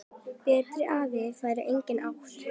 Betri afa hefur enginn átt.